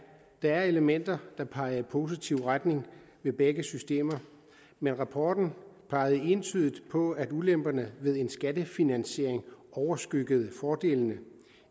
der er elementer der peger i positiv retning ved begge systemer men rapporten pegede entydigt på at ulemperne ved en skattefinansiering overskyggede fordelene